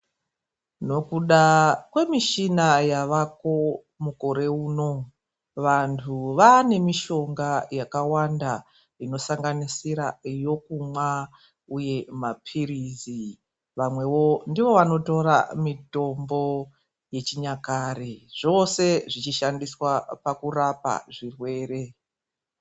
Nokuda kwemishina yavako mukore uno. Vantu vaane mishonga yakawanda inosanganisira yokumwa uye maphirizi. Vamwewo ndivo vanotora mitombo yechinyakare. Zvose zvichishandiswa pakurapa zvirwere.